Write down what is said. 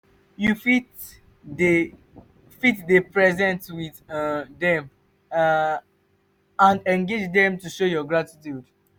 you fit dey fit dey present with um them and engage them to show gratitude